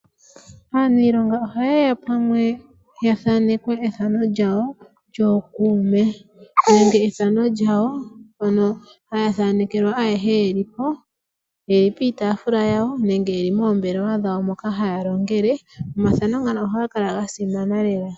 Aaniilonga ohaye ya pamwe ya thaanekwe ethano lyawo lyookuume, nenge ethano lyawo ndono haya thanekelwa ayehe ye li po. Ye li piitafula yawo nenge ye li moombelewa dhawo moka haya longele. Omathano ngano ohaga kala ga simana lela.